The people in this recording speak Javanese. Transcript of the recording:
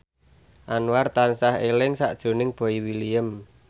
Anwar tansah eling sakjroning Boy William